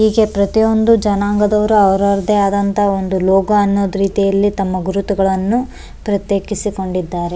ಹೀಗೆ ಪ್ರತಿಯೊಂದು ಜನಾಂಗದವರು ಅವ್ರ್ ಅವ್ರದ್ದೇ ಆದಂತಹ ಒಂದು ಲೋಗೋ ಅನ್ನೋದ್ರೀತಿಯಲ್ಲಿ ತಮ್ಮ ಗುರುತುಗಳನ್ನು ಪ್ರತ್ಯೇಕಿಸಿಕೊಂಡಿದ್ದಾರೆ.